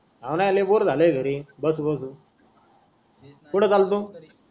हवना लय बोर झालय घरी बसु बसु कुठ चालतो.